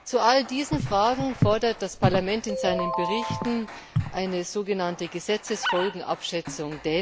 Zu all diesen Fragen fordert das Parlament in seinen Berichten eine sogenannte Gesetzesfolgenabschätzung.